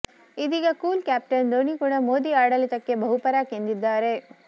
ಇದೀಗ cool captain Dhoni ಕೂಡಾ ಮೋದಿ ಆಡಳಿತಕ್ಕೆ ಬಹುಪರಾಕ್ ಎಂದಿದ್ದಾರೆ